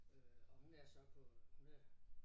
Øh og hun er så på hun er